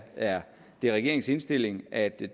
er det regeringens indstilling at det